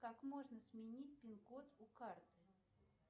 как можно сменить пин код у карты